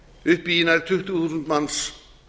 upp í nær tuttugu þúsund manns